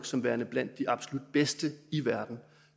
som værende blandt de absolut bedste i verden